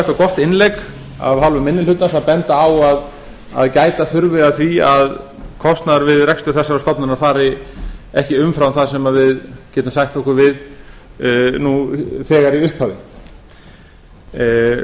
og gott innlegg af hálfu minni hlutans að benda á að gæta þurfi að því að kostnaður við rekstur þessarar stofnunar fari ekki umfram það sem við getum sætt okkur við nú þegar í upphafi